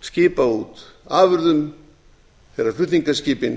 skipa út afurðum þegar flutningaskipin